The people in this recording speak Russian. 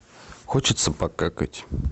хочется покакать